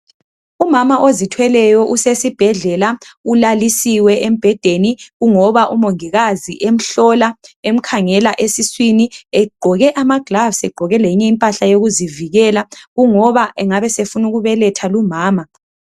Umama ozithweleyo usesibhedlela ulalisiwe embhedeni kungoba umongikazi emhlola emkhangela esiswini egqoke ama gloves egqoke lenye impahla yokuzivikela kungoba engabe esefuna ukubeletha lumama.